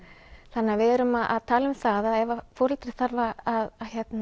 þannig að við erum að tala um það að ef að foreldri þarf að